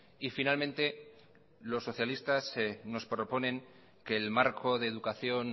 y finalmente los socialistas nos proponen que el marco de educación